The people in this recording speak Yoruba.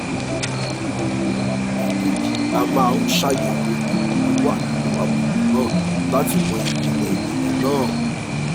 èkejì a máa ń ṣàyẹ̀wò ìyókù tó wà nínú àbùkù náà láti mọ ìjìnlẹ̀ ìjìnlẹ̀ náà